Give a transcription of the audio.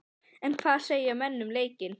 En hvað segja menn um leikinn?